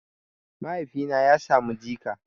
Mahaifina ya samu jika